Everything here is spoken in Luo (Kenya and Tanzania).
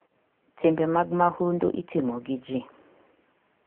Timbe mag mahundu itimo gi ji.